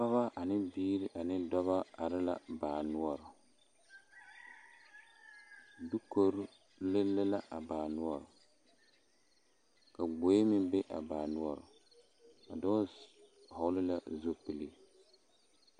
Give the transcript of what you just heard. Pɔgeba ane biiri ane dɔba are la baa noɔre dukori lele la a baa noɔre ka gboe meŋ be a baa noɔre a dɔɔ vɔgle la zupili.